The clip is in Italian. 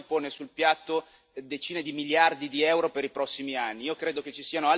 Il progetto Torino Lione pone sul piatto decine di miliardi di euro per i prossimi anni.